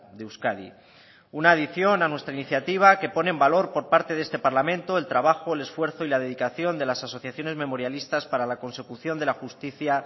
de euskadi una adición a nuestra iniciativa que pone en valor por parte de este parlamento el trabajo el esfuerzo y la dedicación de las asociaciones memorialistas para la consecución de la justicia